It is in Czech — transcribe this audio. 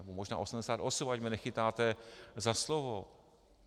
Nebo možná osmdesát osm, ať mě nechytáte za slovo.